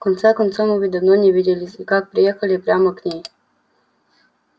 в конце концов мы ведь давно не виделись и как приехали прямо к ней